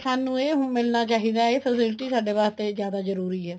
ਸਾਨੂੰ ਇਹ ਮਿਲਣਾ ਚਾਹੀਦਾ ਹੈ ਇਹ facilities ਸਾਡੇ ਵਾਸਤੇ ਜਿਆਦਾ ਜਰੂਰੀ ਹੈ